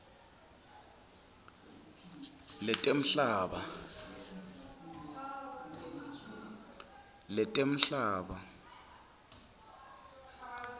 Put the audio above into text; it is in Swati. letemhlaba